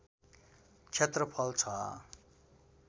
क्षेत्रफल छ